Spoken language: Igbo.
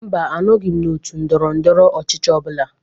Mba, anọghi m n'otu ndọrọndọrọ ọchịchị ọ bụla.